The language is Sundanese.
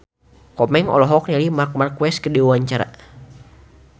Komeng olohok ningali Marc Marquez keur diwawancara